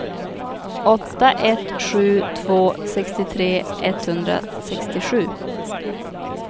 åtta ett sju två sextiotre etthundrasextiosju